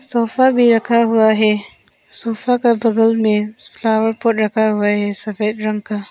Sofa भी रखा हुआ है सोफा के बगल में फ्लावर पॉट रखा हुआ है सफेद रंग का।